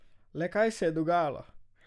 Le kaj se je dogajalo?